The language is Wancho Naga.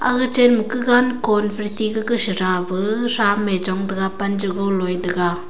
aga chan kagan konphen ti chada pe trame chong taga pan chago loye taga.